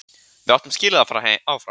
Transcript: Við áttum skilið að fara áfram.